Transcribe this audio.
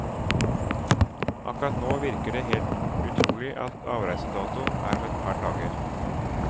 Akkurat nå virker det helt utrolig at avreisedato er om et par dager.